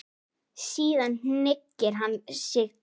Síðan hneigir hann sig djúpt.